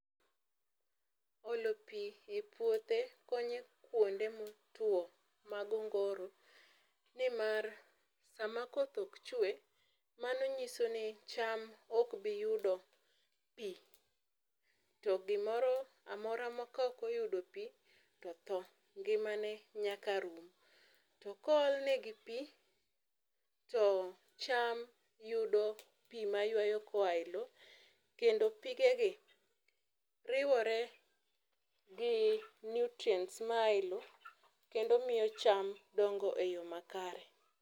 Olo pii epuothe konyo kuonde motuo mag ongoro. Nimar sama koth ok chwe, mano nyiso ni cham ok bi yudo pi. To gimoro amora kaok oyudo pii to thoo, ngimane nyaka rum. To kool negi pii to cham yudo pii mayuayo koa eloo kendo pigegi riwore gi nutrients maa eloo kendo miyo cham dongo eyoo makare.